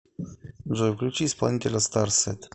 джой включи исполнителя старсет